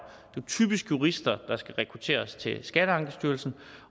er typisk jurister der skal rekrutteres til skatteankestyrelsen